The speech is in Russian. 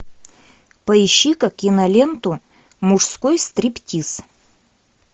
поищи ка киноленту мужской стриптиз